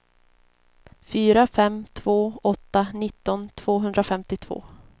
fyra fem två åtta nitton tvåhundrafemtiotvå